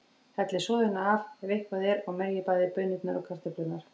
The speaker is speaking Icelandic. Hellið soðinu af, ef eitthvað er, og merjið bæði baunirnar og kartöflurnar.